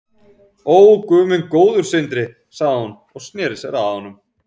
Ó, guð minn góður sagði hún og sneri sér að honum.